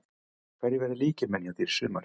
Hverjir verða lykilmenn hjá þér í sumar?